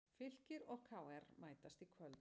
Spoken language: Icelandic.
Fylkir og KR mætast í kvöld